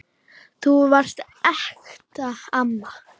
Þú varst ekta amma.